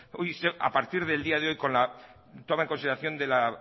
hoy a partir del día de hoy con la toma en consideración de la